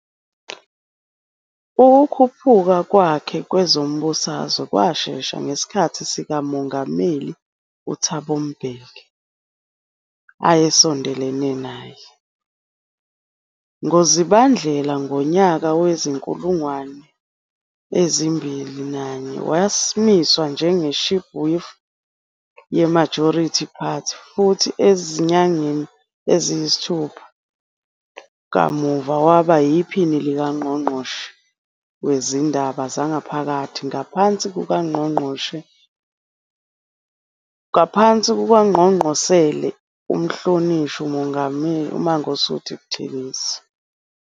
Ukukhuphuka kwakhe kwezombusazwe kwashesha ngesikhathi sikaMongameli uThabo Mbeki, ayesondelene naye, ngoZibandlela ngonyaka wezi-2001, wamiswa njenge-Chief Whip ye-Majority Party, futhi ezinyangeni eziyisithupha kamuva waba yiPhini likaNgqongqoshe Wezindaba Zangaphakathi ngaphansi kukaNgqongqosele uMhlonishwa uMangosuthu Buthelezi.